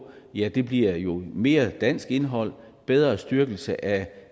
ja det bliver jo mere dansk indhold bedre styrkelse af